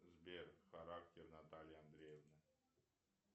сбер характер натальи андреевны